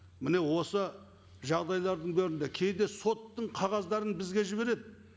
міне осы жағдайлардың кейде соттың қағаздарын бізге жібереді